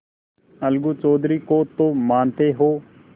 अलगू चौधरी को तो मानते हो